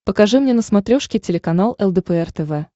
покажи мне на смотрешке телеканал лдпр тв